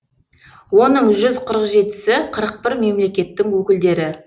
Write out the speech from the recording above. оның жүз қырық жетісі қырық бір мемлекеттің өкілдері